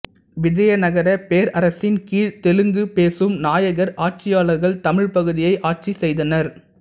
விஜயநகரப் பேரரசின் கீழ் தெலுங்கு பேசும் நாயக்கர் ஆட்சியாளர்கள் தமிழ்ப் பகுதியை ஆட்சி செய்தனர்